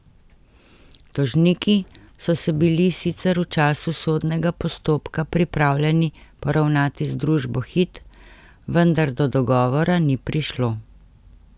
Tožniki so se bili sicer v času sodnega postopka pripravljeni poravnati z družbo Hit, vendar do dogovora ni prišlo.